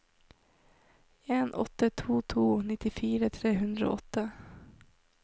en åtte to to nittifire tre hundre og åtte